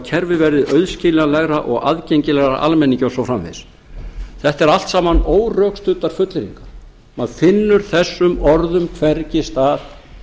kerfið verði auðskiljanlegra og aðgengilegra almenningi og svo framvegis þetta eru allt saman órökstuddar fullyrðingar maður finnur þessum orðum hvergi stað